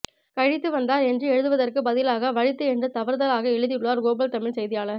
கழித்துவந்தார் என்று எழுதுவதற்கு பதிலாக வழித்து என்று தவறுதலாக எழுதியுள்ளார் குளோபல் தமிழ் செய்தியாளர்